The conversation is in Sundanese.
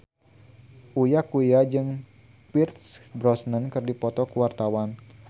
Uya Kuya jeung Pierce Brosnan keur dipoto ku wartawan